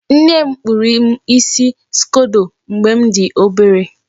Nne m kpụrụ m isi skodo mgbe m dị obere.